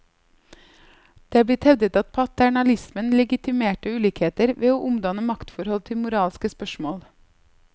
Det er blitt hevdet at paternalismen legitimerte ulikheter, ved å omdanne maktforhold til moralske spørsmål.